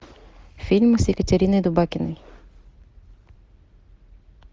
фильмы с екатериной дубакиной